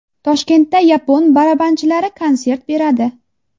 Toshkentda yapon barabanchilari konsert beradi.